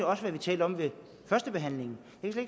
også talte om ved førstebehandlingen jeg kan